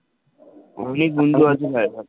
অনেক বন্ধু আছে ভাই,